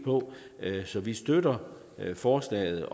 så vi støtter forslaget